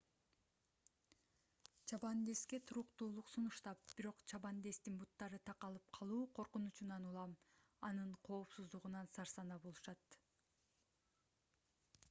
чабандеске туруктуулук сунуштап бирок чабандестин буттары такалып калуу коркунучунан улам анын коопсуздугунан сарсанаа болушат